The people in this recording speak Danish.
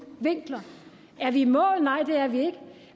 vinkler er vi i mål nej det er vi ikke